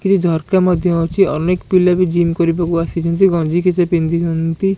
ଏଥିରେ ଝରକା ମଧ୍ୟ ଅଛି ଅନେକ ପିଲା ବି ଜିମ୍ କରିବାକୁ ଆସିଛନ୍ତି ଗଂଜି କିଛି ପିନ୍ଧିଛନ୍ତି।